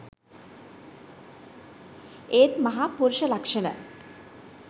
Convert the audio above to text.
ඒත් මහා පුරුෂ ලක්ෂණ